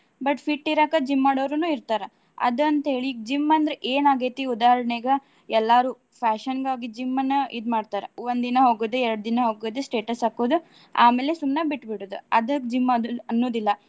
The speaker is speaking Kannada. But fit ಇರಾಕ gym ಮಾಡೊವ್ರುನು ಇರ್ತಾರ. ಅದ್ ಅಂತ ಹೇಳಿ ಈಗ gym ಅಂದ್ರ ಏನ್ ಆಗೈತಿ ಉದಾಹರಣೆಗ ಎಲ್ಲಾರು fashion ಗಾಗಿ gym ನ್ನ ಇದ್ ಮಾಡ್ತಾರ. ಒಂದ್ ದಿನ ಹೋಗೋದು ಎರಡ್ ದಿನ ಹೋಗೋದು status ಹಾಕೋದು. ಆಮೇಲೆ ಸುಮ್ನೆ ಬಿಟ್ಟ್ ಬಿಡೋದ್. ಅದಕ್ಕ gym ಅನ್ನು~ ಅನ್ನುದಿಲ್ಲ.